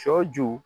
Sɔ ju